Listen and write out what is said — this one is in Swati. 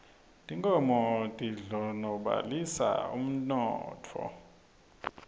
tinkhomo tindlonolobalisa umnotho